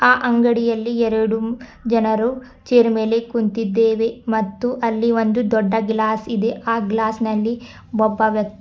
ಆ ಅಗಂಡಿಯಲ್ಲಿ ಎರಡು ಜನರು ಚೇರ್ ಮೇಲೆ ಕುಂತಿದ್ದೇವೆ ಮತ್ತು ಅಲ್ಲಿ ಒಂದು ದೊಡ್ಡ ಗ್ಲಾಸ್ ಇದೆ ಆ ಗ್ಲಾಸ್ ನಲ್ಲಿ ಒಬ್ಬ ವ್ಯಕ್--